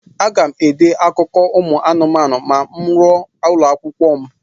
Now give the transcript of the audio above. Aga m ede akụkọ ụmụ anụmanụ ma m ruo ụlọakwụkwọ m.